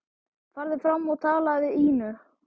Farðu fram og talaðu við Ínu.